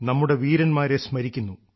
നമ്മുടെ വീരന്മാരെ സ്മരിക്കുന്നു